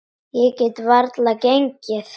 Ég get varla gengið.